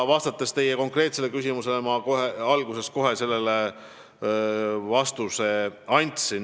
Ja teie konkreetsele küsimusele ma andsin kohe alguses vastuse.